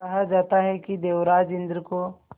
कहा जाता है कि देवराज इंद्र को